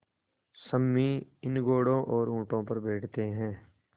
सम्मी इन घोड़ों और ऊँटों पर बैठते हैं